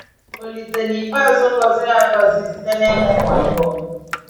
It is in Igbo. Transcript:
Ȯlísè n’ikpeazụ gọziri agọzi site n’ịmụ ụmụ abụọ